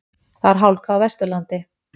Það er hálka á Vesturlandi